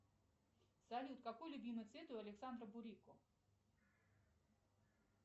салют какой любимый цвет у александра бурико